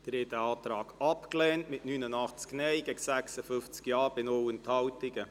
Sie haben diesen Antrag abgelehnt mit 89 Nein- zu 56 Ja-Stimmen bei 0 Enthaltungen.